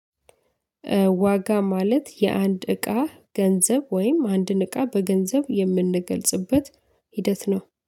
ዋጋ ማለት የአንድ እቃ ገንዘብ ወይም አንድን እቃ በገንዘብ የምንገልጽበት ሂደት ነው።